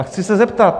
A chci se zeptat.